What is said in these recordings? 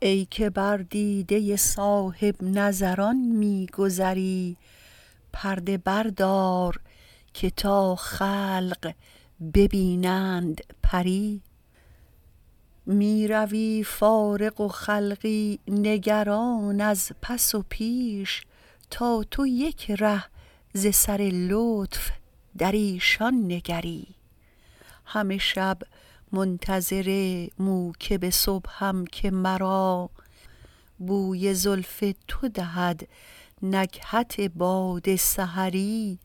ای که بر دیده صاحب نظران می گذری پرده بردار که تا خلق ببینند پری می روی فارغ و خلقی نگران از پس و پیش تا تو یک ره ز سر لطف در ایشان نگری همه شب منتظر موکب صبحم که مرا بوی زلف تو دهد نکهت باد سحری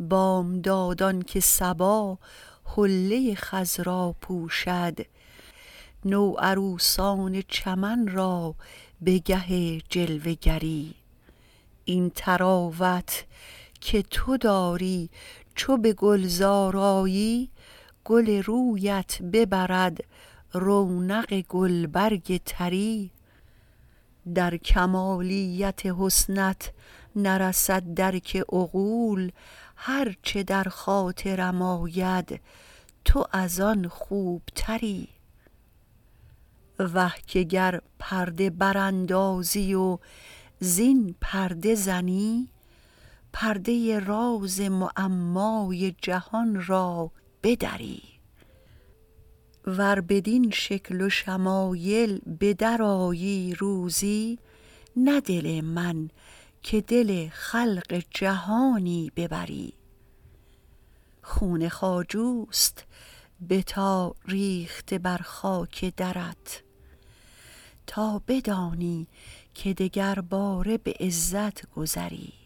بامدادان که صبا حله خضرا پوشد نوعروسان چمن را بگه جلوه گری این طراوت که تو داری چو بگلزار آیی گل رویت ببرد رونق گلبرگ طری در کمالیت حسنت نرسد درک عقول هر چه در خاطرم آید تو از آن خوبتری وه که گر پرده براندازی و زین پرده زنی پرده راز معمای جهان را بدری ور بدین شکل و شمایل بدر آیی روزی نه دل من که دل خلق جهانی ببری خون خواجوست بتا ریخته بر خاک درت تا بدانی که دگر باره به عزت گذری